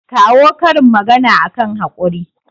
kawo karin magana akan haƙuri